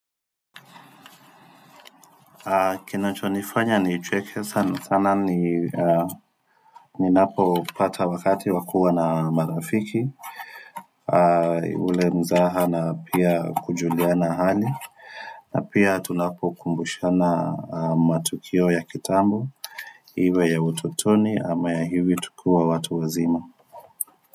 Kinachonifanya nicheke sana sana ni Ninapopata wakati wa kua na marafiki ule mzaha na pia kujuliana hali na pia tunapokumbushana matukio ya kitambo Iwe ya utotoni ama ya hivi tukiwa watu wazima.